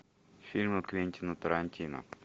фильмы квентина тарантино